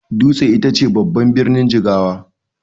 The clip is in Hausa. Dutse ita ce babban birnin Jigawa.